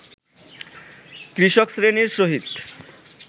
কৃষকশ্রেণীর সহিত